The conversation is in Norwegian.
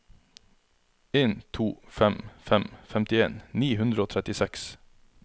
en to fem fem femtien ni hundre og trettiseks